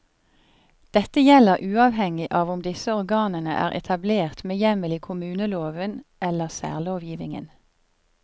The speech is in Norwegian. Dette gjelder uavhengig av om disse organene er etablert med hjemmel i kommuneloven eller særlovgivningen.